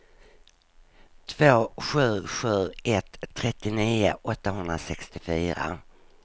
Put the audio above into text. två sju sju ett trettionio åttahundrasextiofyra